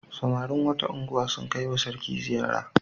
Samarin wata unguwa sun kai wa sarki ziyara.